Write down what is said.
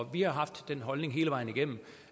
vi har haft den holdning hele vejen igennem